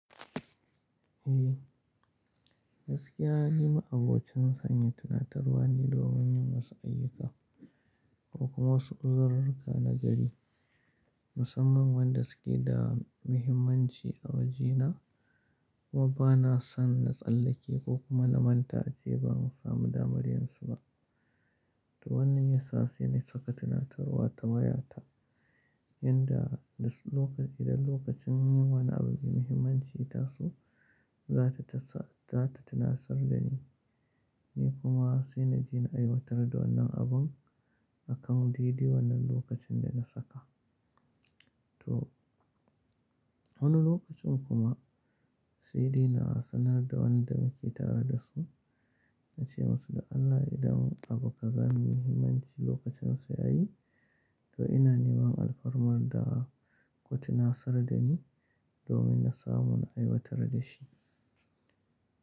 Eh, gaskiya ni ma abocin sanya tuna tarwane domin yin wasu ayyuka ko kuma wasu uzururruka na gari musamman wanda suke da muhimmanci a wajena kuma bana son na tsallake ko kuma na manta ace ban samu damar yinsu ba. To wannan yasa sai na saka tuna tarwa ta wayata idan lokacin yin wani abu muhimmanci ya taso za ta tunasar da ni, ni kuma sai na je na aiwatar da wannan abun akan didi wannan lokacin da na saka. To wani lokacin kuma sai dai na sanar da wanda muke tare da su na ce musu da Allah idan abu kaza mai muhimmanci lokacin sa yayi to ina neman alfarmar da ku tunasar da ni domin na samu na aiwatar da shi.